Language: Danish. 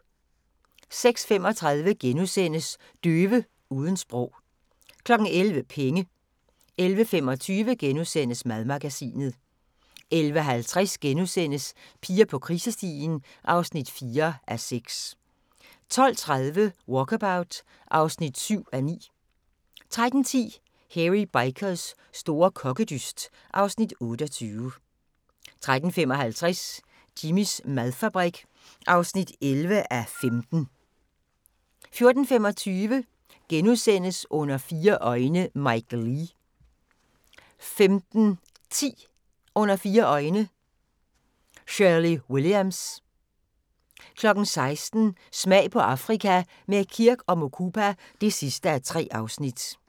06:35: Døve uden sprog * 11:00: Penge 11:25: Madmagasinet * 11:50: Piger på krisestien (4:6)* 12:30: Walkabout (7:9) 13:10: Hairy Bikers store kokkedyst (Afs. 28) 13:55: Jimmys madfabrik (11:15) 14:25: Under fire øjne – Mike Leigh * 15:10: Under fire øjne – Shirley Williams 16:00: Smag på Afrika – med Kirk & Mukupa (3:3)